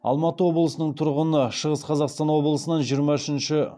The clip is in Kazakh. алматы облысының тұрғыны шығыс қазақстан облысынан жиырма үшінші